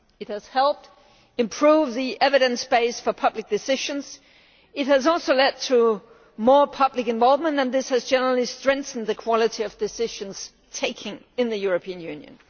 It has helped improve the evidence base for public decisions. It has also led to more public involvement, and this has generally strengthened the quality of decisions taken in the European Union.